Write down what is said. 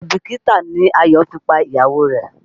Àìbìkítà ni Ayọ̀ fi pa ìyàwó rẹ̀.